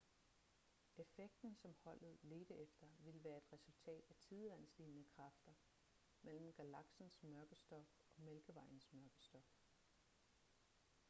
effekten som holdet ledte efter ville være et resultat af tidevandslignende kræfter mellem galaksens mørke stof og mælkevejens mørke stof